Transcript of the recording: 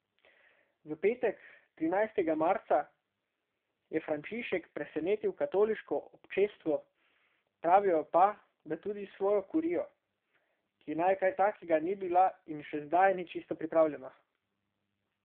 V petek, trinajstega marca, je Frančišek presenetil katoliško občestvo, pravijo pa, da tudi svojo kurijo, ki na kaj takega ni bila in še zdaj ni čisto pripravljena.